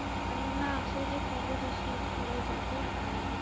না আসে যে কবে যে শীত চলে যাবে আর আমি